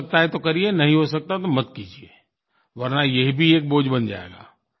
हो सकता है तो करिए नहीं हो सकता तो मत कीजिए वरना ये भी एक बोझ बन जाएगा